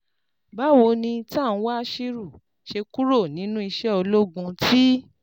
Báwo ni Tanwa Ashiru ṣe kúrò nínú iṣẹ́ ológun ti